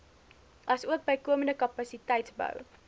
asook bykomende kapasiteitsbou